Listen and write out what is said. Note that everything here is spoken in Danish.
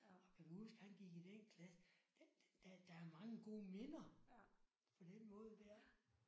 Og kan du huske han gik i den klasse der er mange gode minder på den måde der